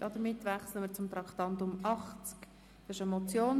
Damit wechseln wir zum Traktandum 80: